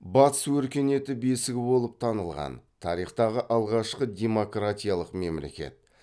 батыс өркениеті бесігі болап танылған тарихтағы алғашқы демократиялық мемлекет